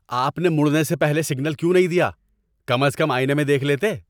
آپ نے مڑنے سے پہلے سگنل کیوں نہیں دیا؟ کم از کم آئینے میں دیکھ لیتے۔